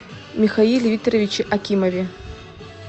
михаиле викторовиче акимове